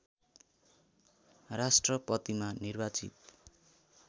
राष्ट्रपतिमा निर्वाचित